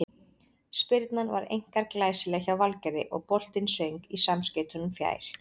Spyrnan var einkar glæsileg hjá Valgerði og boltinn söng í samskeytunum fjær.